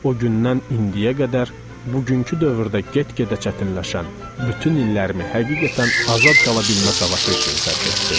O gündən indiyə qədər bugünkü dövrdə get-gedə çətinləşən bütün illərimi həqiqətən azad qala bilmə savaşı üçün sərf etdim.